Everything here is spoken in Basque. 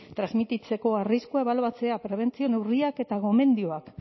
transmititzeko arriskua ebaluatzea prebentzio neurriak eta gomendioak